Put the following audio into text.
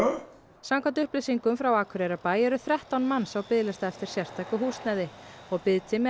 samkvæmt upplýsingum frá Akureyrarbæ eru þrettán manns á biðlista eftir sértæku húsnæði og biðtími að